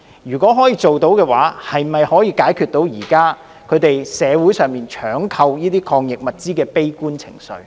如果可以辦到，能否紓解現時社會上搶購這類抗疫物資的悲觀情緒？